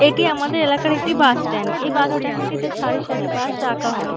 এটি আমাদের এলাকার একটি বাস স্ট্যান্ড । এই বাস স্ট্যান্ড -টিতে সারি সারি বাস রাখা হয় ।